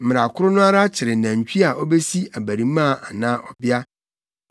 Mmara koro no ara kyere nantwi a obesi abarimaa anaa ɔbea.